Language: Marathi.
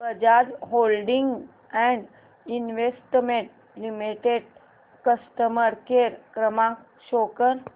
Bajaj holdings and investment limited customer care क्रमांक शो कर